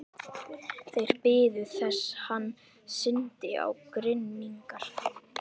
Þeir biðu þess hann synti á grynningar.